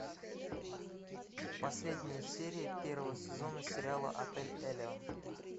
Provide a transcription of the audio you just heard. последняя серия первого сезона сериала отель элеон